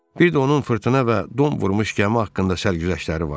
Bir də onun fırtına və don vurmuş gəmi haqqında sərgüzəştləri vardı.